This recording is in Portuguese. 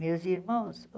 Meus irmãos?